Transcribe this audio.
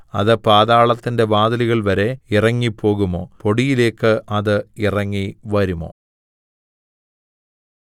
അത് പാതാളത്തിന്റെ വാതിലുകൾ വരെ ഇറങ്ങിപ്പോകുമോ പൊടിയിലേക്ക് അത് ഇറങ്ങിവരുമോ